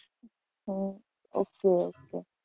Hmm okay okay.